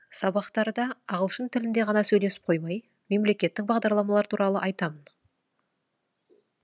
сабақтарда ағылшын тілінде ғана сөйлесіп қоймай мемлекеттік бағдарламалар туралы айтамын